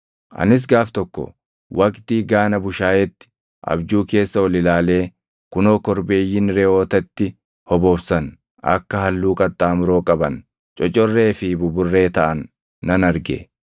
“Anis gaaf tokko waqtii gaana bushaayeetti abjuu keessa ol ilaalee kunoo korbeeyyiin reʼootatti hobobsan akka halluu qaxxaamuroo qaban, cocorree fi buburree taʼan nan arge.